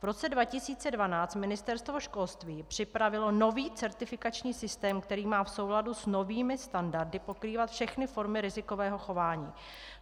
V roce 2012 Ministerstvo školství připravilo nový certifikační systém, který má v souladu s novými standardy pokrývat všechny formy rizikového chování.